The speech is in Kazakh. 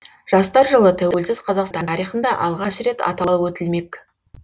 жастар жылы тәуелсіз қазақстан тарихында алғаш рет аталып өтілмек